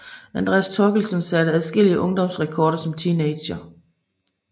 Andreas Thorkildsen satte adskillige ungdomsrekorder som teenager